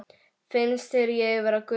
Finnst þér ég vera gömul?